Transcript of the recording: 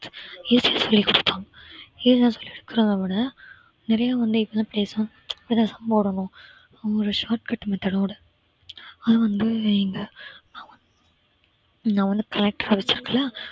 சொல்லி கொடுக்கறதவிட நெறையா வந்து பேசணும் எத்தன sum போடணும் ஒரு short cut method ஓட அது வந்து இங்க நான் வந்து நான் வந்து